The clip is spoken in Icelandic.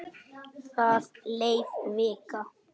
Það leið vika.